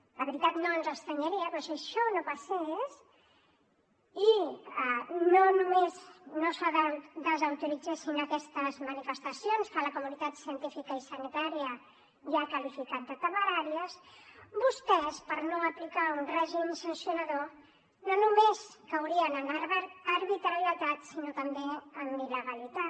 la veritat no ens estranyaria però si això no passés i no només no se desautoritzessin aquestes manifestacions que la comunitat científica i sanitària ja ha qualificat de temeràries vostès per no aplicar un règim sancionador no només caurien en arbitrarietat sinó també en il·legalitat